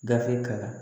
Gafe kalan